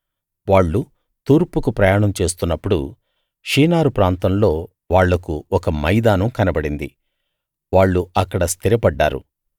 వాళ్ళు తూర్పుకు ప్రయాణం చేస్తున్నప్పుడు షీనారు ప్రాంతంలో వాళ్లకు ఒక మైదానం కనబడింది వాళ్ళు అక్కడ స్థిరపడ్డారు